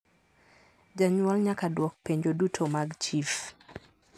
Janyuol nyaka duok penjo duto mag chif